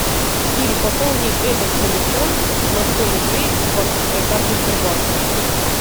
сири пополни этот телефон на сто рублей с банковской карты сбербанка